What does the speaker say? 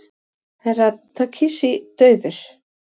Herra Takashi dauður!